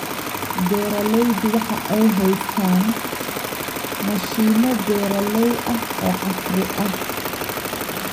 Beeraleydu waxa ay haystaan ??mashiino beeralay ah oo casri ah.